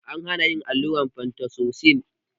An hana yin allurar fentazosin